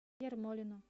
ермолину